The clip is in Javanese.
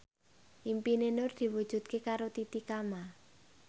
impine Nur diwujudke karo Titi Kamal